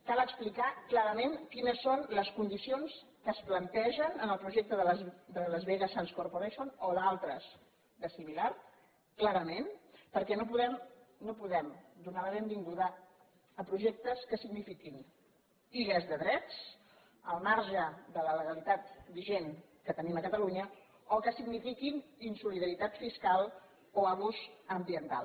cal explicar clarament quines són les con·dicions que es plantegen en el projecte de las vegas sands corporation o d’altres de similars clarament perquè no podem donar la benvinguda a projectes que signifiquin illes de drets al marge de la legalitat vi·gent que tenim a catalunya o que signifiquin insoli·daritat fiscal o abús ambiental